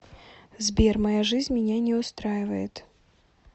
сбер моя жизнь меня не устраивает